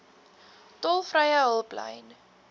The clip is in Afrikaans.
tolvrye hulplyn